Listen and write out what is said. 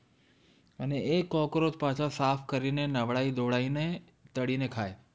અને એ cockroach પાછા સાફ કરીને નવડાવી ધોવડાવી ને તળી ને ખાય